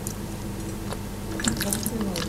бахтиной